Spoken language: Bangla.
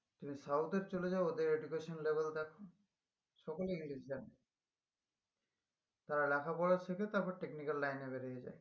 তুমি south এ চলে যাও ওদের education level দেখো সকলে english জানে তারা লেখাপড়া শেখে তারপর technical line এ বেরিয়ে যাই